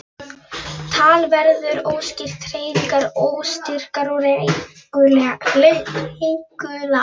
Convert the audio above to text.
Tal verður óskýrt, hreyfingar óstyrkar og reikular.